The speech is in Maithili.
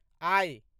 आइ